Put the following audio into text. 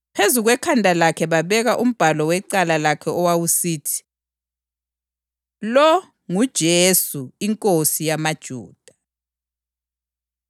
Phezu kwekhanda lakhe babeka umbhalo wecala lakhe owawusithi, Lo nguJesu, iNkosi yamaJuda.